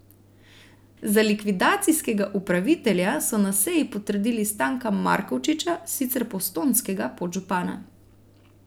Za likvidacijskega upravitelja so na seji potrdili Stanka Markovčiča, sicer postojnskega podžupana.